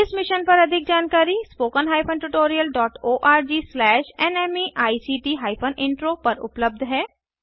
इस मिशन पर अधिक जानकारी spoken hyphen tutorial dot ORG slash नमेक्ट हाइफेन इंट्रो पर उपलब्ध है